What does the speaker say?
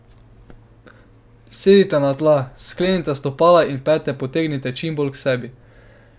Sedite na tla, sklenite stopala in pete potegnite čim bolj k sebi.